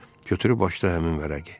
Götürüb açdı həmin vərəqi.